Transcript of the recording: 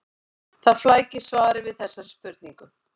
Það flækir svarið við þessari spurningu.